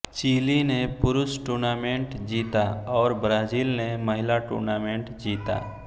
chilli ने पुरुष tournament जीता और ब्राजील ने महिला टूर्नामेंट जीता